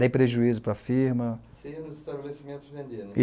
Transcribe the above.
Dei prejuízo para a firma. Você ia no estabelecimento vender né?